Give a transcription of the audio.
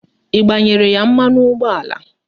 Ị gbanyere ya mmanụ ụgbọala?